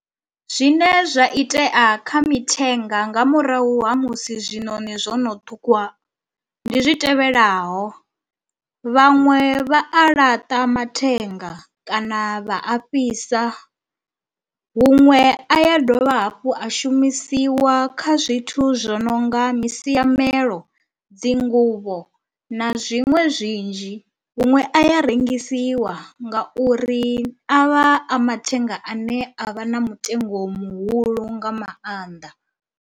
Zwine zwa itea kha mithenga nga murahu ha musi zwiṋoni zwono ṱhukhuwa ndi zwi tevhelaho, vhaṅwe vha a laṱa mathenga kana vha a fhisa, huṅwe a ya dovha hafhu a shumisiwa kha zwithu zwo no nga misiamelo, dzi nguvho na zwiṅwe zwinzhi, huṅwe a ya rengisiwa nga uri a vha a mathenga ane a vha na mutengo muhulu nga maanḓa.